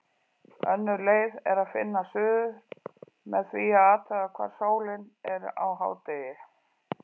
Önnur leið er að finna suður með því að athuga hvar sólin er á hádegi.